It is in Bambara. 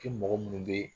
Kɛ mɔgɔ minnu bɛ